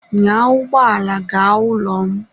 Nyaa ụgbọ ala gaa n'ụlọ m!